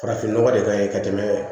Farafin nɔgɔ de ka ɲi ka tɛmɛ